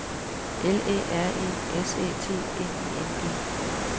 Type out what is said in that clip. L Æ R E S Æ T N I N G